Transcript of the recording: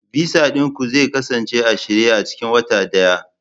Visa ɗin ku zai kasance a shirye a cikin wata ɗaya